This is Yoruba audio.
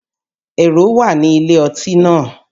Èrò wà ní ilé ọtí náà